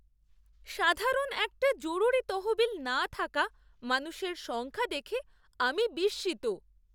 সাধারণ একটা জরুরি তহবিল না থাকা মানুষের সংখ্যা দেখে আমি বিস্মিত!